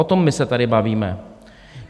O tom my se tady bavíme.